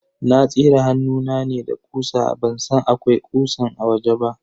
Na tsire hannuna ne da ƙusa ban san akwai ƙusan a wajen ba.